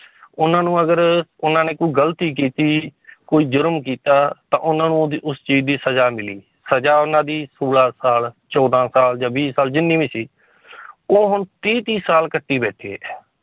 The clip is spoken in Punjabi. ਉਹਨਾਂ ਨੂੰ ਅਗਰ ਉਹਨਾਂ ਨੇ ਕੋਈ ਗ਼ਲਤੀ ਕੀਤੀ ਕੋਈ ਜ਼ੁਰਮ ਕੀਤਾ ਤਾਂ ਉਹਨਾਂ ਨੂੰ ਉਹਦੀ ਉਸ ਚੀਜ਼ ਦੀ ਸਜ਼ਾ ਮਿਲੀ, ਸਜ਼ਾ ਉਹਨਾਂ ਦੀ ਸੌਲਾਂ ਸਾਲ ਚੌਦਾਂ ਸਾਲ ਜਾਂ ਵੀਹ ਸਾਲ ਜਿੰਨੀ ਵੀ ਸੀ ਉਹ ਹੁਣ ਤੀਹ ਤੀਹ ਸਾਲ ਕੱਟੀ ਬੈਠੇ ਹੈ